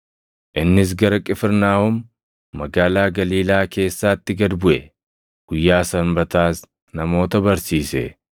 Innis gara Qifirnaahom, magaalaa Galiilaa keessaatti gad buʼe; guyyaa Sanbataas namoota barsiise.